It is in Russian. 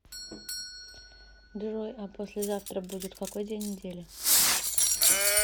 джой а послезавтра будет какой день недели